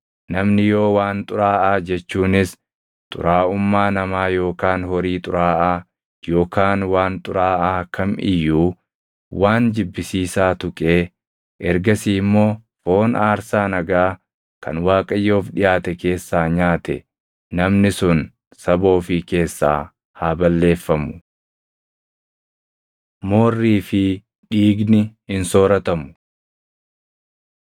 Namni yoo waan xuraaʼaa jechuunis xuraaʼummaa namaa yookaan horii xuraaʼaa yookaan waan xuraaʼaa kam iyyuu, waan jibbisiisaa tuqee ergasii immoo foon aarsaa nagaa kan Waaqayyoof dhiʼaate keessaa nyaate namni sun saba ofii keessaa haa balleeffamu.’ ” Moorrii fi Dhiigni Hin Sooratamu